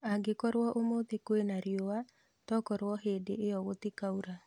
Angĩkorwo ũmũthĩ kwĩna riua tokorwo hĩndĩ iyo gũtikaura